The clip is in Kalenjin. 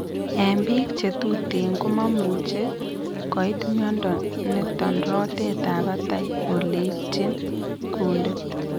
En biik che tuten komamuche koit mnyondo niton rotet ab batai ole itchin kundit